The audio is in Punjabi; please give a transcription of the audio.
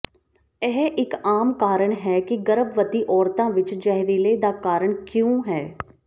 ਇਹ ਇਕ ਆਮ ਕਾਰਨ ਹੈ ਕਿ ਗਰਭਵਤੀ ਔਰਤਾਂ ਵਿੱਚ ਜ਼ਹਿਰੀਲੇ ਦਾ ਕਾਰਨ ਕਿਉਂ ਹੈ